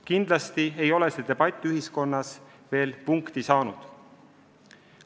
Kindlasti ei ole see debatt ühiskonnas veel punkti saanud.